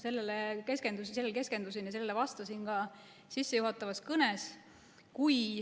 Sellele ma keskendusin ja sellele vastasin ka oma sissejuhatavas kõnes.